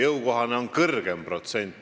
Jõukohane on kõrgem protsent.